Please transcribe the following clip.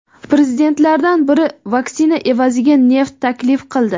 Prezidentlardan biri vaksina evaziga neft taklif qildi.